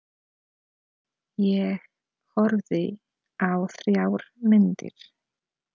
Ég horfði á þrjár myndir.